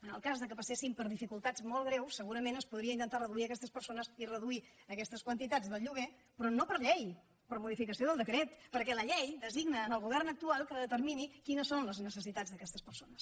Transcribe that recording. en el cas que passessin per dificultats molt greus segurament es podria intentar reduir aquestes persones i reduir aquestes quantitats del lloguer però no per llei per modificació del decret perquè la llei designa al govern actual que determini quines són les necessitats d’aquestes persones